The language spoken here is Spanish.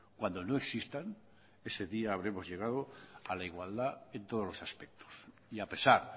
cuando no existan ese día habremos llegado a la igualdad en todos los aspectos y a pesar